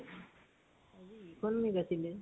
আজি economics আছিলে ।